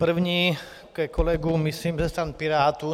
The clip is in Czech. První ke kolegům, myslím, ze strany Pirátů.